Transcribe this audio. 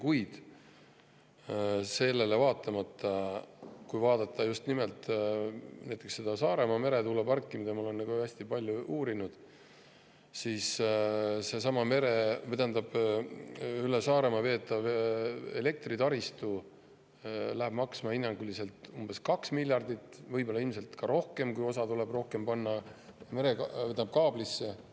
Kuid sellele vaatamata, just nimelt näiteks Saaremaa meretuulepargi puhul, mida ma olen hästi palju uurinud, läheb seesama üle Saaremaa elektritaristu maksma hinnanguliselt 2 miljardit eurot, ilmselt rohkemgi, kui osa tuleb panna kaablisse.